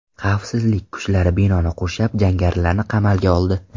Xavfsizlik kuchlari binoni qurshab, jangarilarni qamalga oldi.